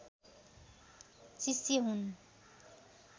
शिष्य हुन्